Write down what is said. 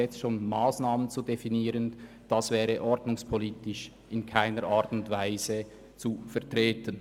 jetzt schon Massnahmen zu definieren, wäre ordnungspolitisch in keiner Art und Weise zu vertreten.